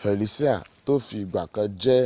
felisia to fi ìgbà kan jẹ